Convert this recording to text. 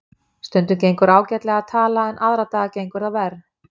Stundum gengur ágætlega að tala en aðra daga gengur það verr.